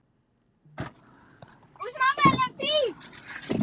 Ég er bara ekki enn búinn að fá nýjan síma.